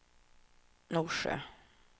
Norsjö